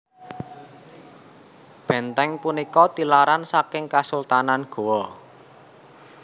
Bèntèng punika tilaran saking Kesultanan Gowa